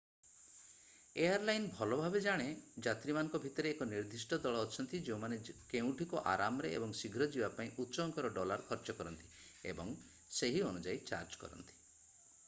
air line ଭଲଭାବେ ଜାଣେ ଯାତ୍ରୀମାନଙ୍କ ଭିତରେ ଏକ ନିର୍ଦ୍ଦିଷ୍ଟ ଦଳ ଅଛନ୍ତି ଯେଉଁମାନେ କେଉଁଠିକି ଆରାମରେ ଏବଂ ଶୀଘ୍ର ଯିବା ପାଇଁ ଉଚ୍ଚ ଅଙ୍କର ଡଲାର ଖର୍ଚ୍ଚ କରନ୍ତି ଏବଂ ସେହି ଅନୁଯାୟୀ ଚାର୍ଜ କରନ୍ତି